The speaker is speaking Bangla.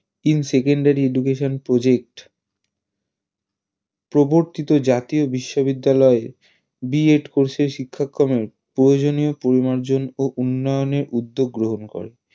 in secodary education project প্রবর্তিত জাতীয় বিশ্ববিদ্যালয়ের B. Ed course এর শিক্ষাক্রমের প্রয়োজনীয় পরিমার্জন ও উন্নয়নের উদ্যোগ গ্রহন করেন